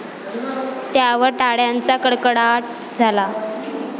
त्यावर टाळ्यांचा कडकडाट झाला.